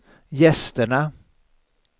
gästerna